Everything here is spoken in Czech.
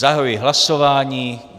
Zahajuji hlasování.